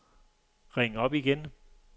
ring op igen